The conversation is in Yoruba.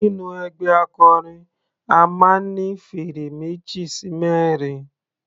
Nínú ẹgbẹ́ akọrin a máa ń ní fèrè meji sí mẹrin.